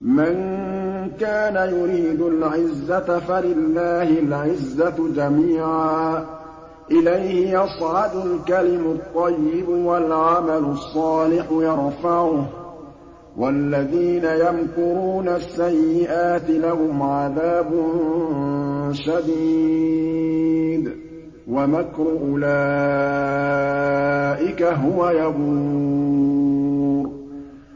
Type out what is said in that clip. مَن كَانَ يُرِيدُ الْعِزَّةَ فَلِلَّهِ الْعِزَّةُ جَمِيعًا ۚ إِلَيْهِ يَصْعَدُ الْكَلِمُ الطَّيِّبُ وَالْعَمَلُ الصَّالِحُ يَرْفَعُهُ ۚ وَالَّذِينَ يَمْكُرُونَ السَّيِّئَاتِ لَهُمْ عَذَابٌ شَدِيدٌ ۖ وَمَكْرُ أُولَٰئِكَ هُوَ يَبُورُ